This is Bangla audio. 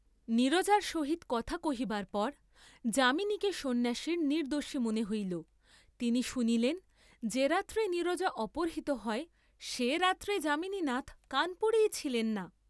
নীরজার সহিত কথা কহিবার পর যামিনীকে সন্ন্যাসীর নির্দ্দোষী মনে হইল; তিনি শুনিলেন যে রাত্রে নীরজা অপহৃত হয়, সে রাত্রে যামিনীনাথ কানপুরেই ছিলেন না।